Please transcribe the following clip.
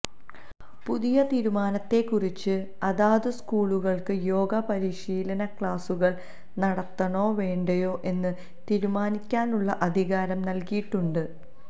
പുതിയ തീരുമാനത്തെക്കുറിച്ച് അതാതു സ്കൂളുകൾക്ക് യോഗ പരിശീലന ക്ലാസുകൾ നടത്തണോ വേണ്ടയോ എന്ന് തീരുമാനിക്കാനുള്ള അധികാരം നൽകിയിട്ടുണ്ട്